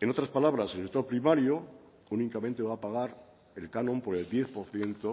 en otras palabras el sector primario únicamente va a pagar el canon por el diez por ciento